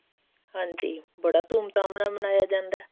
ਹਾਂਜੀ ਬੜਾ ਧੂਮ ਧਾਮ ਨਾਲ ਮਨਾਇਆ ਜਾਂਦਾ